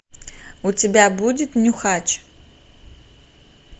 у тебя будет нюхач